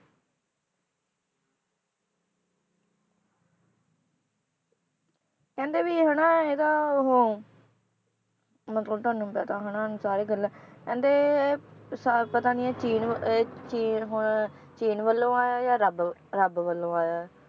ਕਹਿੰਦੇ ਵੀ ਇਹ ਹਨਾ ਇਹਦਾ ਉਹ ਮਤਲਬ ਤੁਹਾਨੂੰ ਵੀ ਪਤਾ ਹੋਣਾ ਸਾਰੀ ਗੱਲਾਂ ਕਹਿੰਦੇ ਸ~ ਪਤਾ ਨੀ ਇਹ ਚੀਨ ਇਹ ਚੀਨ ਹੁਣ ਚੀਨ ਵੱਲੋਂ ਆਇਆ ਜਾਂ ਰੱਬ, ਰੱਬ ਵੱਲੋਂ ਆਇਆ ਹੈ